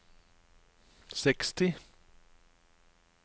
seksti